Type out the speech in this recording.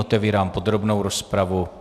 Otevírám podrobnou rozpravu.